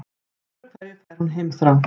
Öðru hverju fær hún heimþrá.